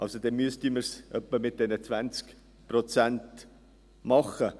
Dann müssten wir es also etwa mit diesen 20 Prozent machen.